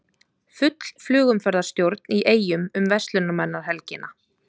Full flugumferðarstjórn í Eyjum um verslunarmannahelgina